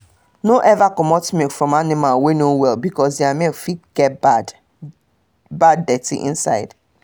no ever commot milk from animal wey no well because their milk fit get bad bad dirtyinside